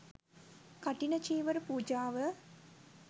කඨින චීවර පූජාව,